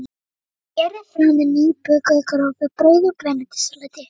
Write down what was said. Berið fram með nýbökuðu grófu brauði og grænmetissalati.